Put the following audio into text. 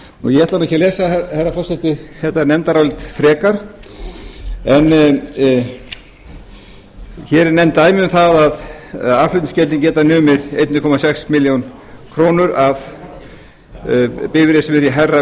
ég ætla ekki að lesa herra forseti þetta nefndarálit frekar en hér eru nefnd dæmi um það að aðflutningsgjöldin geta numið einn komma sex milljónir króna af bifreið sem er í hærra